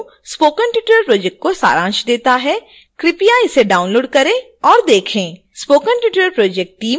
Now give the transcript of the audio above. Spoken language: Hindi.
निम्नलिखित लिंक पर वीडियो स्पोकन ट्यूटोरियल प्रोजेक्ट का सारांश देता है कृपया इसे डाउनलोड करें और देखें